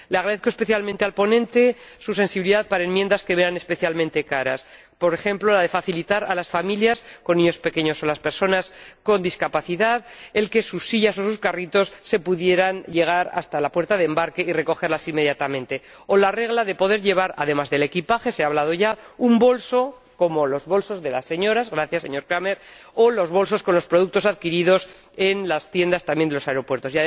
Le agradezco especialmente al ponente su sensibilidad respecto de enmiendas que me eran especialmente caras, por ejemplo para facilitar a las familias con niños pequeños o a las personas con discapacidad que sus sillas o sus carritos puedan llegar hasta la puerta de embarque y ser recogidas a la salida inmediatamente o para poder llevar, además del equipaje —ya se ha señalado—, un bolso, como los bolsos de las señoras —gracias, señor Cramer— o las bolsas con los productos adquiridos en las tiendas de los aeropuertos.